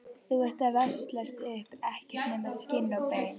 Þú ert að veslast upp, ekkert nema skinn og bein.